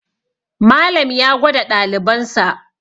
Malam ya gwada ɗalibansa